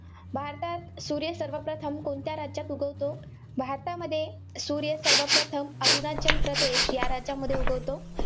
भारतात सूर्य सर्वप्रथम कोणत्या राज्यात उगवतो? भारतामध्ये सूर्य सर्वप्रथम अरुणाचल प्रदेश या राज्यामध्ये उगवतो.